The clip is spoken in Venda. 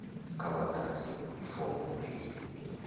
kha vha ḓadze form b